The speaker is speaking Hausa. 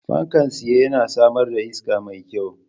Fankan tsaye yana samar da iska mai kyau.